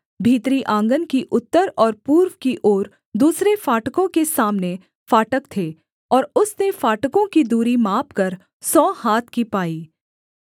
भीतरी आँगन की उत्तर और पूर्व की ओर दूसरे फाटकों के सामने फाटक थे और उसने फाटकों की दूरी मापकर सौ हाथ की पाई